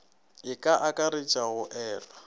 e ka akaretša go elwa